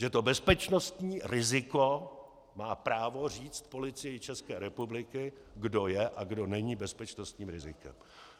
Že to bezpečnostní riziko má právo říct Policii České republiky, kdo je a kdo není bezpečnostním rizikem.